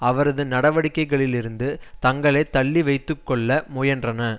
அவரது நடவடிக்கைகளிலிருந்து தங்களை தள்ளி வைத்து கொள்ள முயன்றன